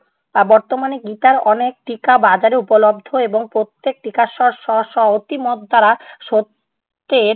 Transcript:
বর্তমানে গীতার অনেক টিকা বাজারে উপলব্ধ এবং প্রত্যেক টিকার স্বর স্ব-স্ব অতিমত দ্বারা সত্যের